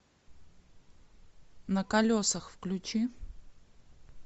на колесах включи